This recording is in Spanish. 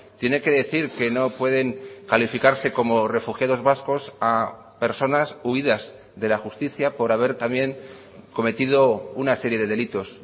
tiene que decir que no pueden calificarse como refugiados vascos a personas huidas de la justicia por haber también cometido una serie de delitos